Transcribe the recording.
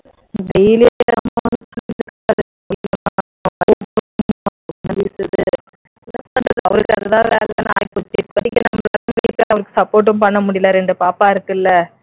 அவருக்கு அது தான் வேலைன்னு ஆகிப்போச்சு இப்போதைக்கு நம்மளால support ம் பண்ண முடியல ரெண்டு பாப்பா இருக்குல்ல